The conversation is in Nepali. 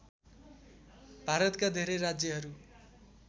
भारतका धेरै राज्यहरू